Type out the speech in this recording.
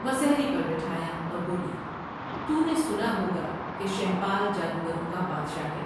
مسہری پر بٹھایا اور بولی " تو نے سنا ہوگا کہ شہپال جادوگروں کا بادشاہ ہے ۔